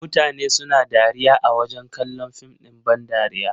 Mutane suna dariya a wajen kallon fim ɗin ban dariya.